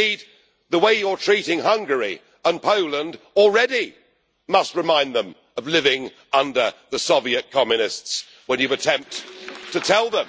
Indeed, the way you are treating Hungary and Poland must already remind them of living under the Soviet communists when you attempt to tell them